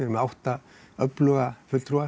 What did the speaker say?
með átta öfluga